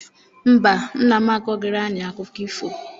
Mba, nna m akọrọghị anyị akụkọ ifo.